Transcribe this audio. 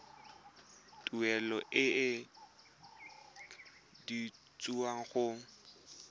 tuelo e e duetsweng go